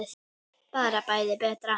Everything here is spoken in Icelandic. Bara bæði betra.